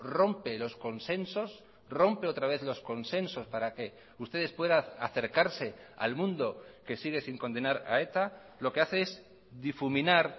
rompe los consensos rompe otra vez los consensos para que ustedes puedan acercarse al mundo que sigue sin condenar a eta lo que hace es difuminar